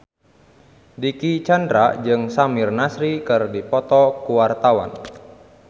Dicky Chandra jeung Samir Nasri keur dipoto ku wartawan